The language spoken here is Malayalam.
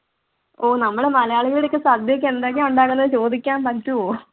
ഓ നമ്മൾ മലയാളികളിടക്ക് സദ്യക്ക് എന്തൊക്കെ ഉണ്ടാകുന്നത് ചോദിക്കാൻ പറ്റുവോ?